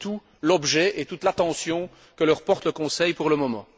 C'est tout l'objet et toute l'attention que leur porte le Conseil pour le moment.